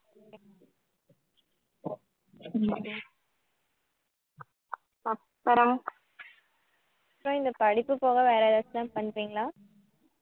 அப்பறம் அப்பறம் இந்த படிப்பு போக வேற எதாச்சும் பண்றீங்களா